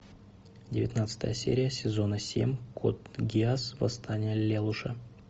девятнадцатая серия сезона семь код гиас восстание лелуша